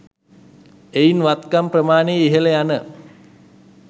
එයින් වත්කම් ප්‍රමාණය ඉහළ යන